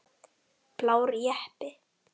Blár jeppi.